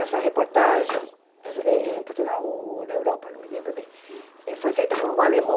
Essa reportagem, em em Portugal ou na Europa, não me lembro bem, eh foi feita por um alemão.